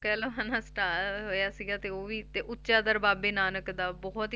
ਕਹਿ ਲਓ ਹਨਾ star ਹੋਇਆ ਸੀਗਾ ਤੇ ਉਹ ਵੀ ਤੇ ਉੱਚਾ ਦਰ ਬਾਬੇ ਨਾਨਕ ਦਾ ਬਹੁਤ